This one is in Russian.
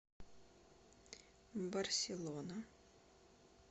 барселона